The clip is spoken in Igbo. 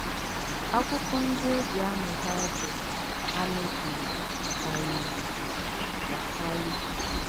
Àkwụ́kwọ́ ǹdí e jì àmụ̀ Baịbụ̀l hà mèbìrì kàríìrì àkàrí.